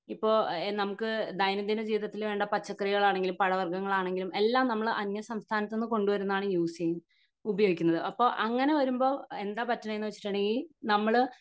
ഇപ്പൊ ഇത് നമുക്ക് ദൈന്യന്ദിത ജീവിതത്തിൽ വേണ്ട പച്ചക്കറികൾ ആണെങ്കിലും പഴവർഗങ്ങൾ ആണെങ്കിലും എല്ലാം നമ്മൾ അന്യ സംസ്ഥാനത്ത് നിന്ന് കൊണ്ട് വരുന്നതാണ് യൂസ് ചെയ്യുന്നത് ഉപയോഗിക്കുന്നത് അപ്പൊ അങ്ങിനെ വരുമ്പോ എന്താ പറ്റുന്നേന്ന് വെച്ചിട്ടുണ്ടെങ്കി നമ്മൾ